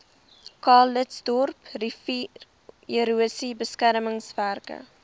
calitzdorp riviererosie beskermingswerke